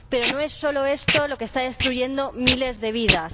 Pero no es solo esto lo que está destruyendo miles de vidas.